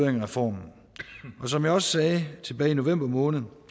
af reformen som jeg også sagde tilbage i november måned